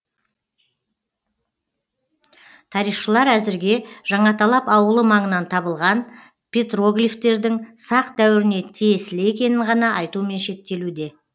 тарихшылар әзірге жаңаталап ауылы маңынан табылған петроглифтердің сақ дәуіріне тиесілі екенін ғана айтумен шектелуде